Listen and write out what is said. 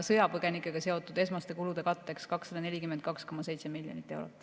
Sõjapõgenikega seotud esmaste kulude katteks on 242,7 miljonit eurot.